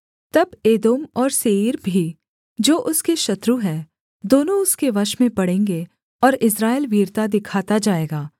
तब एदोम और सेईर भी जो उसके शत्रु हैं दोनों उसके वश में पड़ेंगे और इस्राएल वीरता दिखाता जाएगा